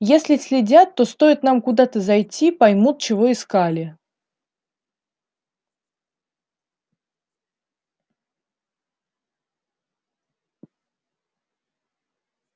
если следят то стоит нам куда-то зайти поймут чего искали